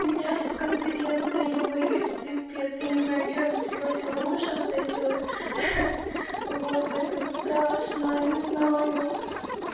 у меня сейчас конференция я боюсь пипец я не знаю чего я нацепила в свои уши вот эти вот вот поэтому страшно не знаю